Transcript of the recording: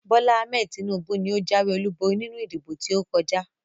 Bola Ahmed Tinubu ni ó jáwé olúborí nínú ìdìbò tí ó kọjá